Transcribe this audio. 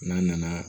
N'a nana